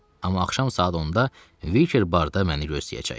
Amma axşam saat 10-da Viker barda məni gözləyəcək.